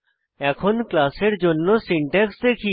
এখন ক্লাসের জন্য সিনট্যাক্স দেখি